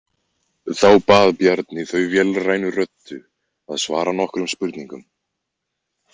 Þá bað Bjarni þau vélrænni röddu að svara nokkrum spurningum.